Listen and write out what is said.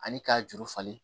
Ani k'a juru falen